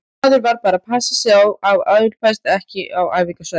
Maður varð bara að passa sig á að álpast ekki inn á æfingasvæðin.